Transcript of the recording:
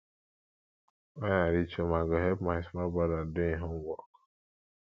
wen i reach home i go help my small broda do do im homework